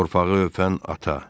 Torpağı öpən ata.